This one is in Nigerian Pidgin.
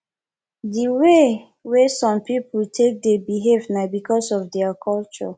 di way wey some pipo take dey behave na because of their culture